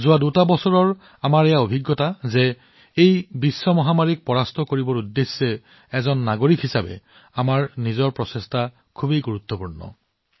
যোৱা দুবছৰত আমাৰ এই অভিজ্ঞতা হৈছে যে এই গোলকীয় মহামাৰীক পৰাস্ত কৰিবলৈ নাগৰিক হিচাপে আমাৰ নিজৰ প্ৰচেষ্টা অতি গুৰুত্বপূৰ্ণ